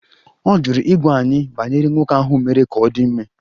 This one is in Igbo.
Ọ jụrụ ịgwa anyị banyere nwoke ahụ mere ka ọ dị ime